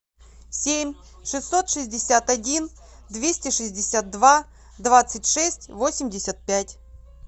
семь шестьсот шестьдесят один двести шестьдесят два двадцать шесть восемьдесят пять